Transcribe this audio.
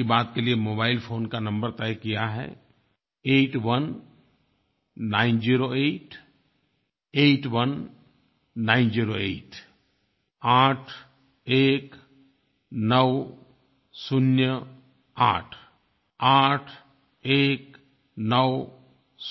मन की बात के लिये मोबाइल फ़ोन का नंबर तय किया है 8190881908 आठ एक नौ शून्य आठ आठ एक नौ